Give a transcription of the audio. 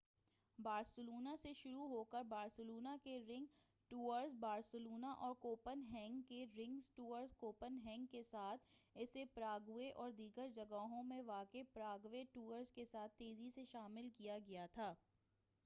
Barcelona سے شروع ہوکر بارسلونا کے رننگ ٹورز بارسلونا اور کوپن ہیگن کے رننگ ٹورز کوپن ہیگن کے ساتھ اسے پراگوے اور دیگر جگہوں میں واقع پراگوے ٹورز کے ساتھ تیزی سے شامل کیا گیا تھا